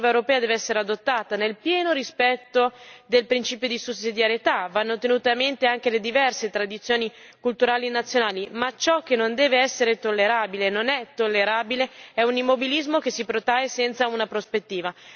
La normativa europea deve essere adottata nel pieno rispetto del principio di sussidiarietà, vanno tenute a mente anche le diverse tradizioni culturali nazionali, ma ciò che non deve essere tollerabile, non è tollerabile, è un immobilismo che si protrae senza una prospettiva.